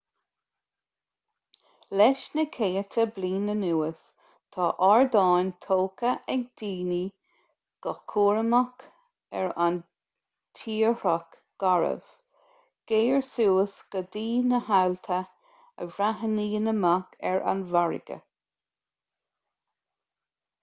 leis na céadta bliain anuas tá ardáin tógtha ag daoine go cúramach ar an tírdhreach garbh géar suas go dtí na haillte a bhreathnaíonn amach ar an bhfarraige